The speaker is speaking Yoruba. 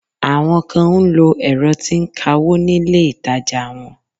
Àwọn kan ń lo ẹ̀rọ tí ń kawó nílé ìtajà wọn.